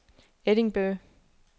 Edinburgh